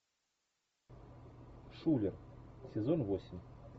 шулер сезон восемь